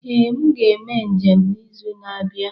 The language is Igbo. Ee, m ga-eme njem n'izu na-abịa.